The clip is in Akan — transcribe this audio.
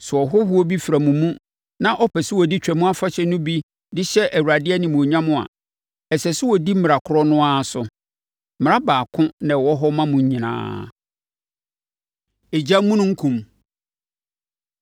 “Sɛ ɔhɔhoɔ bi fra mo mu na ɔpɛ sɛ ɔdi Twam Afahyɛ no bi de hyɛ Awurade animuonyam a, ɛsɛ sɛ ɔdi mmara korɔ no ara so. Mmara baako na ɛwɔ hɔ ma mo nyinaa.” Egyamununkum